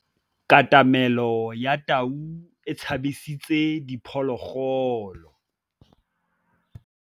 Katamêlô ya tau e tshabisitse diphôlôgôlô.